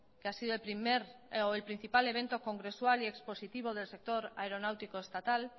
que ha sido el primer o el principal evento congresual y expositivo del sector aeronáutico estatal